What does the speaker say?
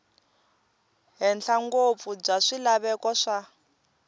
henhla ngopfu bya swilaveko swa